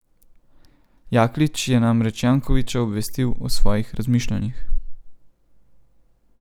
Jaklič je namreč Jankovića obvestil o svojih razmišljanih.